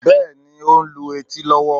Bẹ́ẹ̀ ni, ó ń lu etí lọ́wọ́